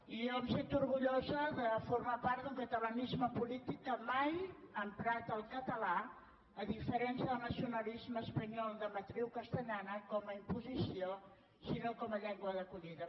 i jo em sento orgullosa de formar part d’un catalanisme polític que mai ha emprat el català a diferència del nacionalisme espanyol de matriu castellana com a imposició sinó com a llengua d’acollida